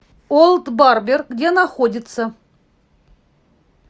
олд барбер где находится